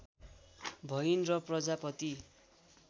भइन् र प्रजापती